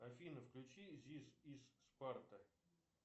афина включи зис ис спарта